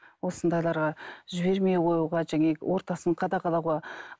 осындайларға жібермей қоюға ортасын қадағалауға